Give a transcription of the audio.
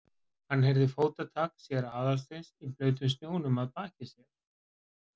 Hann heyrði fótatak séra Aðalsteins í blautum snjónum að baki sér.